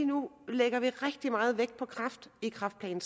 nu lægger rigtig meget vægt på kræft i kræftplan